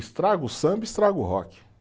Estraga o samba, estraga o rock.